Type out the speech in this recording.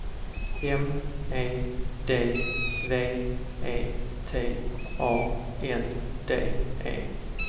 M E D V E T A N D E